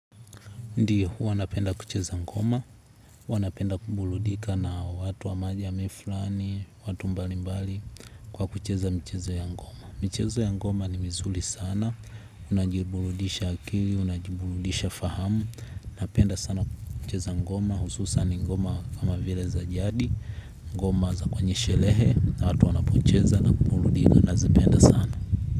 Ndiyo, huwa napenda kucheza ngoma, huwa napenda kubuludika na watu wa majamii flani, watu mbali mbali kwa kucheza mchezo ya ngoma. Michezo ya ngoma ni mizuli sana, unajibuludisha akili, unajibuludisha fahamu, napenda sana kucheza ngoma, hususan ni ngoma kama vile za jadi, ngoma za kwenye shelehe, na watu wanapocheza na kubuludika, nazipenda sana.